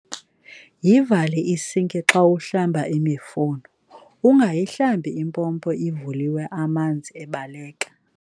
Yivale isinki xa uhlamba imifuno, ungayihlambi impompo ivuliwe amanzi ebaleka.